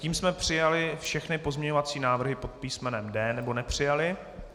Tím jsme přijali všechny pozměňovací návrhy pod písmenem D - nebo nepřijali.